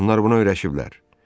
Onlar buna öyrəşiblər.